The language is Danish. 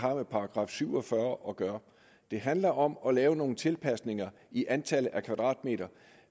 har med § syv og fyrre at gøre det handler om at lave nogle tilpasninger i antallet af kvadratmeter